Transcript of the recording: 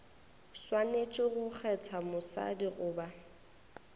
swanetše go kgetha mosadi goba